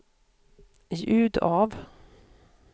ljud av